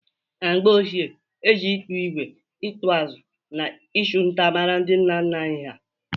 Na mgbe ochie, e ji ịkpụ ígwè, ịkpụ ụzụ na ịchụ nta mara ndị nna nna anyị ha